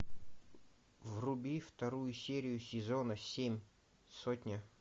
вруби вторую серию сезона семь сотня